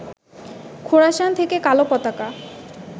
খোরাসান থেকে কালো পতাকা